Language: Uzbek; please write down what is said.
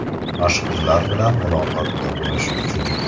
Mashhurlar bilan muloqotda bo‘lish uchun.